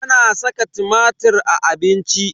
Ana saka tumatir a abinci.